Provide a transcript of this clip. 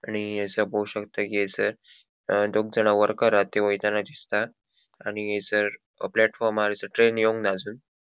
आणि हयसर पो शकता कि हयसर अ दोग जाणा वर्कर हा ते वयतना दिसतात आणि हयसर प्लेटफॉर्मार ट्रेन एवन्ग्ना आजून.